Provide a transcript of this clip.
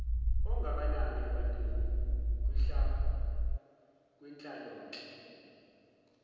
ongakanani ebantwini kwinhlalonhle